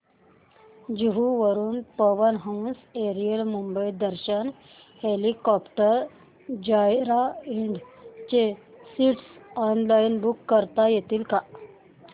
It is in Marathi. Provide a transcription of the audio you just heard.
जुहू वरून Pawan Hans aerial Mumbai Darshan helicopter joyride च्या सीट्स ऑनलाइन बुक करता येतील का